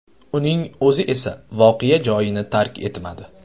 Uning o‘zi esa voqea joyini tark etmadi.